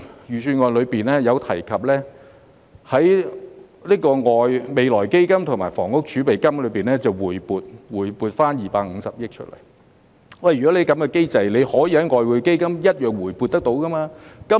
預算案中提及會在未來基金及房屋儲備金回撥250億元，如果在這機制下，當局同樣可以從外匯基金回撥。